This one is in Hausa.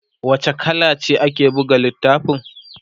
wace kala ce ake buga littafin?